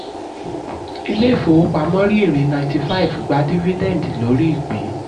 ilé ìfowópamọ́ rí èrè ninety five gba dividend lórí ìpín.